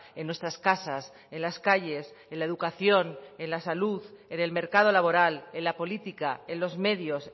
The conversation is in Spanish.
en nuestras casas en las calles en la educación en la salud en el mercado laboral en la política en los medios